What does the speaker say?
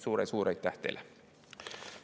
Suur-suur aitäh teile!